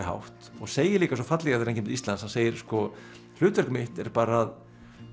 hátt og segir líka svo fallega þegar hann kemur til Íslands segir sko hlutverk mitt er bara að